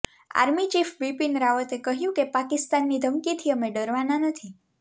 army chief Bipin રાવતે કહ્યું કે પાકિસ્તાનની ધમકીથી અમે ડરવાના નથી